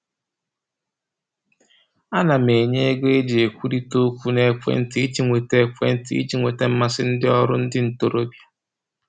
A na m enye ego e ji ekwurita okwu n'ekwentị iji nweta n'ekwentị iji nweta mmasị ndị ọrụ ndị ntoroọbịa